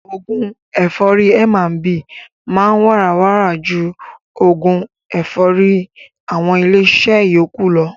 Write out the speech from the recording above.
Oògún ẹ̀fọ́rì M&B máa ń wàrà wàrà ju oògún ẹ̀fọ́rì àwọn ilé iṣẹ́ yókù lọ.